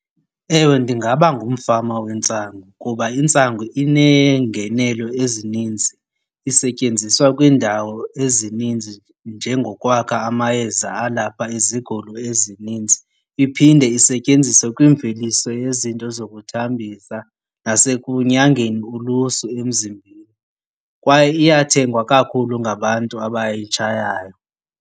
Ewe, ndingaba ngumfama wentsangu kuba intsangu iinengenelo ezininzi. Isetyenziswa kwiindawo ezininzi njengokwakha amayeza alapha izigulo ezininzi. Iphinde isetyenziswe kwimveliso yezinto zokuthambisa nasekunyangeni ulusu emzimbeni, kwaye iyathengwa kakhulu ngabantu abayitshayayo.